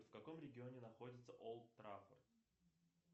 в каком регионе находится олд траффорд